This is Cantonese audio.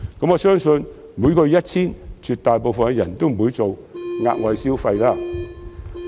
我相信如果是每月 1,000 元，絕大部分人都不會額外消費。